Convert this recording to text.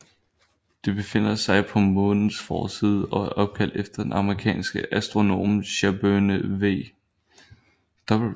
Det befinder sig på Månens forside og er opkaldt efter den amerikanske astronom Sherburne W